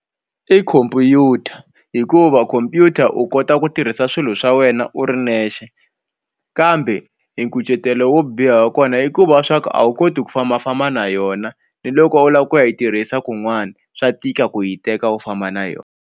I khompyuta hikuva khompyuta u kota ku tirhisa swilo swa wena u ri nexe kambe e nkucetelo wo biha wa kona i ku va swa ku a wu koti ku fambafamba na yona ni loko u lava ku yi tirhisa kun'wana swa tika ku yi teka u famba na yona.